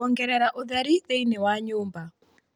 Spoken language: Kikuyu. kuongerera utheri thiini wa nyumba